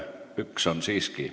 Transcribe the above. Üks on siiski.